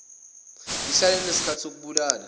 lihlale linesikhathi sokubulala